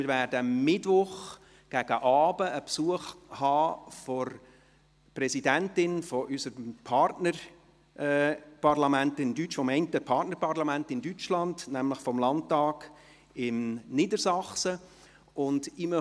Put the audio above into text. Am Mittwoch gegen Abend werden wir Besuch der Präsidentin von einem unserer Partnerparlamente aus Deutschland haben, nämlich dem Niedersächsischen Landtag.